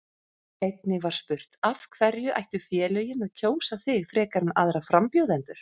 Einnig var spurt: Af hverju ættu félögin að kjósa þig frekar en aðra frambjóðendur?